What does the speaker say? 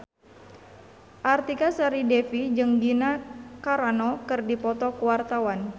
Artika Sari Devi jeung Gina Carano keur dipoto ku wartawan